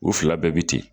U fila bɛɛ bɛ ten